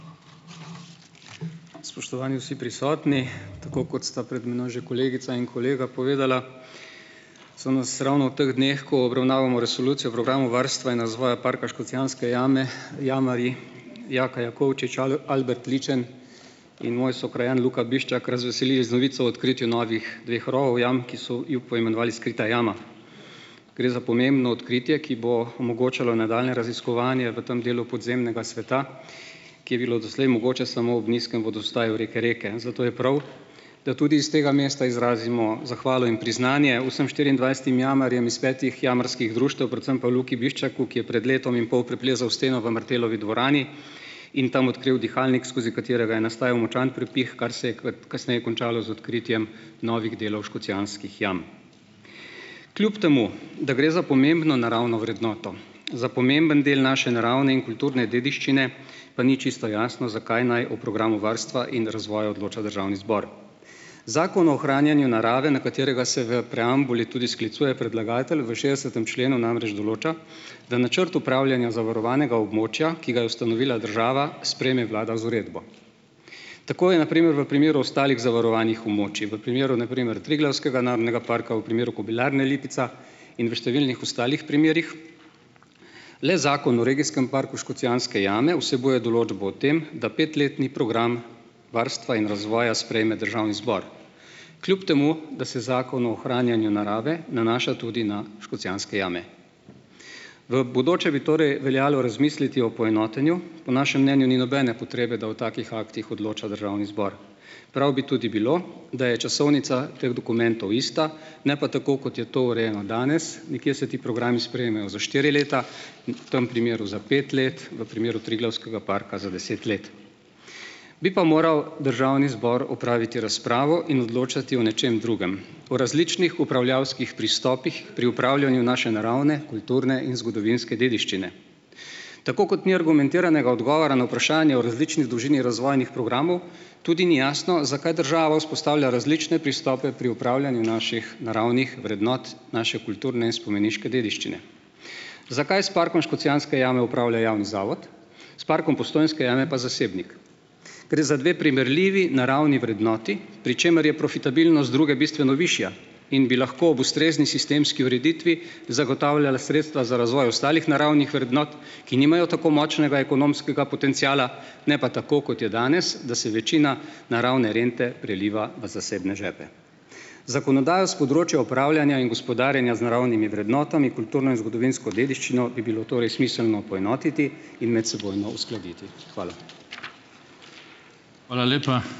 Spoštovani vsi prisotni, tako kot sta pred mano že kolegica in kolega povedala, so nas ravno v teh dneh obravnavamo resolucijo programa o varstvu in razvoju parka Škocjanske jame jamarji Jaka Jakovčič Albert Ličen in moj sokrajan Luka Biščak razveselili z novico o odkritju novih dveh rovov jam, ki so jo poimenovali Skrita jama. Gre za pomembno odkritje, ki bo omogočalo nadaljnje raziskovanje v tem delu podzemnega sveta, ki je bilo doslej mogoče samo ob nizkem vodostaju reke Reke, zato je prav, da tudi iz tega mesta izrazimo zahvalo in priznanje vsem štiriindvajsetim jamarjem iz petih jamarskih društev, predvsem pa Luki Biščaku, ki je pred letom in pol preplezal steno v Martelovi dvorani in tam odkril dihalnik, skozi katerega je nastajal močan prepih, kar se je kasneje končalo z odkritjem novih delov Škocjanskih jam. Kljub temu da gre za pomembno naravno vrednoto, za pomemben del naše naravne in kulture dediščine, pa ni čisto jasno, zakaj naj v programu varstva in razvoja odloča državni zbor, zakon o ohranjanju narave, na katerega se v preambuli tudi sklicuje predlagatelj, v šestdesetem členu namreč določa da načrt upravljanja zavarovanega območja, ki ga je ustanovila država, sprejme vlada z uredbo. Tako je na primer v primeru ostalih zavarovanih območij, v primeru na primer Triglavskega narodnega parka, v primeru Kobilarne Lipica in v številnih ostalih primerih. Le zakon o regijskem parku Škocjanske jame vsebuje določbo o tem, da petletni program varstva in razvoja sprejme državni zbor, kljub temu da se zakon o ohranjanju narave nanaša tudi na Škocjanske jame. V bodoče bi torej veljalo razmisliti o poenotenju, po našem mnenju ni nobene potrebe, da o takih aktih odloča državni zbor, prav bi tudi bilo, da je časovnica teh dokumentov ista, ne pa tako, kot je to urejeno danes, nekje se ti programi sprejmejo za štiri leta in v tem primeru za pet let, v primeru Triglavskega parka za deset let. Bi pa moral državni zbor opraviti razpravo in odločati o nečem drugem, o različnih upravljavskih pristopih pri opravljanju naše naravne kulturne in zgodovinske dediščine. Tako kot ni argumentiranega odgovora na vprašanje o različni dolžini razvojnih programov tudi ni jasno, zakaj država vzpostavlja različne pristope pri opravljanju naših naravnih vrednot, naše kulturne in spomeniške dediščine, zakaj s parkom Škocjanske jame javni zavod, s parkom Postojnske jame pa zasebnik. Gre za dve primerljivi naravni vrednoti, pri čemer je profitabilnost druge bistveno višja in bi lahko ob ustrezni sistemski ureditvi zagotavljala sredstva za razvoj ostalih naravnih vrednot, ki nimajo tako močnega ekonomskega potenciala, ne pa tako, kot je danes, da se večina naravne rente priliva v zasebne žepe. Zakonodajo s področja upravljanja in gospodarjenja z naravnimi vrednotami, kulturno in zgodovinsko dediščino, bi bilo torej smiselno poenotiti in medsebojno uskladiti. Hvala. Hvala lepa.